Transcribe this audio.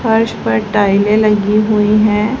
फर्श पर टाइलें लगी हुई हैं।